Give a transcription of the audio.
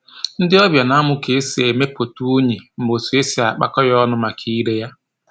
Ndị ọbịa na-amụ ka e si emepụta unyi na otu e si akpakọ ya ọnụ maka ire ya